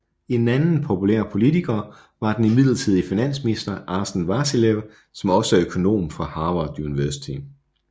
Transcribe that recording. En anden populær politiker var den midlertidige finansminister Asen Vasilev som også er økonom fra Harvard University